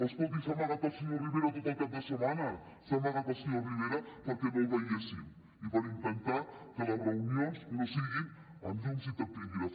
escolti s’ha amagat el senyor rivera tot el cap de setmana s’ha amagat el senyor rivera perquè no el veiéssim i per intentar que les reunions no siguin amb llums i taquígrafs